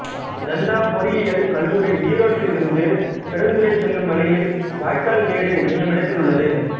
நந்தா பொறியியல் கல்லூரி ஈரோட்டிலிருந்து பெருந்துறை செல்லும் வழியில் வாய்க்கால் மேடு என்னும் இடத்தில் உள்ளது